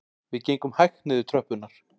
Við gengum hægt niður tröppurnar